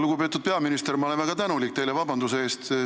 Lugupeetud peaminister, ma olen teile väga tänulik vabanduse palumise eest.